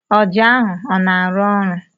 Ọjà ahụ ọ na-arụ ọrụ?